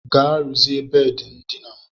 Gaa rụzie bedị ndina m.